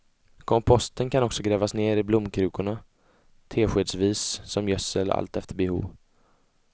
Komposten kan också grävas ner i blomkrukorna, teskedsvis, som gödsel, allt efter behov.